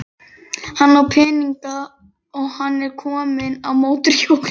Hann á peninga og hann er kominn á mótorhjól.